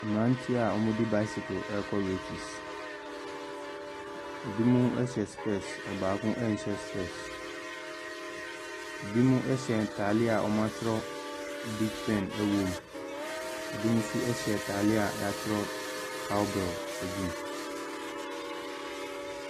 Mmeranteɛ a wɔde bicycle reka races. Binom hyɛ specs, ɔbaako nhyɛ specs. Binom hyɛ ntadeɛ a wɔatwerɛ Big Pen wɔ mu. Ɛbinom nso hyɛ atadeɛ a wɔatwerɛ COWBELL agu mu.